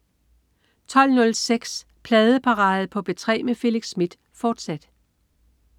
12.06 Pladeparade på P3 med Felix Smith, fortsat